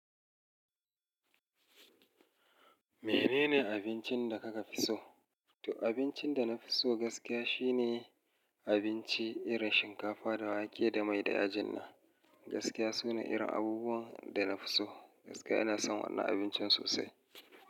Menene abincin da kuka fi so? To abincin da na fi so gaskiya shine abinci irin shinkafa da wake da mai da yajin nan. Gaskiya suna irin abubuwan da na fi so. Gaskiya ina son wannan abincin sosai.